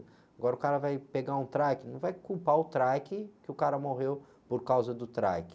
Agora o cara vai pegar um trike, não vai culpar o trike que o cara morreu por causa do trike.